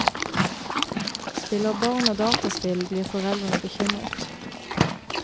Spiller barna dataspill, blir foreldrene bekymret.